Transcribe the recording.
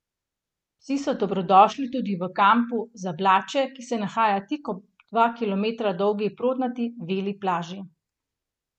Psi so dobrodošli tudi v kampu Zablaće, ki se nahaja tik ob dva kilometra dolgi prodnati Veli plaži.